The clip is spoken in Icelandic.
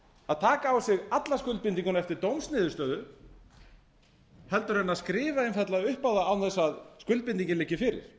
að taka á sig alla skuldbindinguna eftir dómsniðurstöðu en að skrifa einfaldlega upp á það án þess að skuldbindingin liggi fyrir